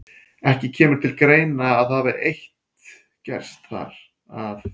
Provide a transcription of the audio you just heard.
Ekki kemur til greina, að það eitt hafi gerst þar, að